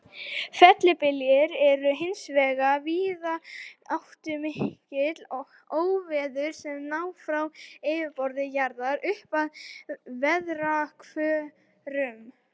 Fellibyljir eru hins vegar víðáttumikil óveður sem ná frá yfirborði jarðar upp að veðrahvörfum.